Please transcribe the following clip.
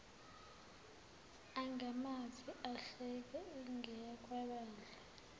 angamazi ahleke ingeyakwabani